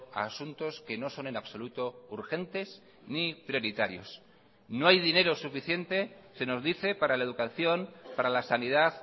a asuntos que no son en absoluto urgentes ni prioritarios no hay dinero suficiente se nos dice para la educación para la sanidad